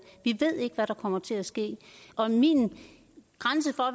vi ved ikke hvad der kommer til at ske min grænse for